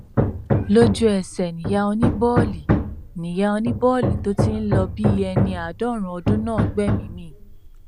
lójú ẹsẹ níyà oníbòòlì níyà oníbòòlì tó ti ń lọ bíi ẹni àádọrin ọdún náà gbẹmíín mi